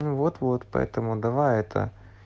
вот вот поэтому давай это